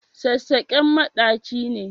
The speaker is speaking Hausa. Sassaƙen maɗaci ne.